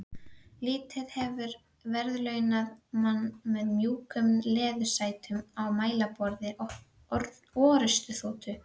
Lífið hefur verðlaunað mann með mjúkum leðursætum og mælaborði orrustuþotu.